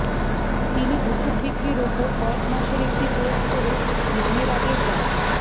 তিনি ওষুধ বিক্রির ওপর কয়েক মাসের একটি কোর্স করে নামের আগে ডা